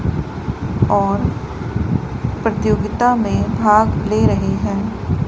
और प्रतियोगिता में भाग ले रहे हैं।